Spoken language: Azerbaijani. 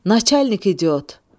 Naçalnik idiot!